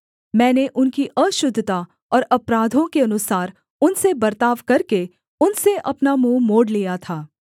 मैंने उनकी अशुद्धता और अपराधों के अनुसार उनसे बर्ताव करके उनसे अपना मुँह मोड़ लिया था